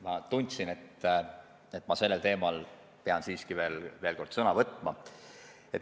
Ma tundsin, et ma sellel teemal pean siiski veel kord sõna võtma.